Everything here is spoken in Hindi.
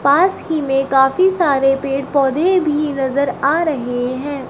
पास ही में काफी सारे पेड़ पौधे भी नजर आ रहे हैं।